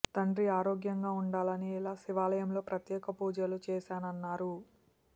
తండ్రి ఆరోగ్యంగా ఉండాలని ఇలా శివాలయంలో ప్రత్యేక పూజలు చేశానన్నారు